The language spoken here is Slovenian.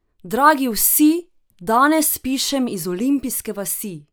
Dragi vsi, danes pišem iz olimpijske vasi!